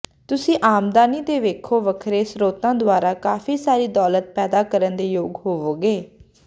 ਤੁਸੀਂ ਆਮਦਨੀ ਦੇ ਵੱਖੋ ਵੱਖਰੇ ਸਰੋਤਾਂ ਦੁਆਰਾ ਕਾਫ਼ੀ ਸਾਰੀ ਦੌਲਤ ਪੈਦਾ ਕਰਨ ਦੇ ਯੋਗ ਹੋਵੋਗੇ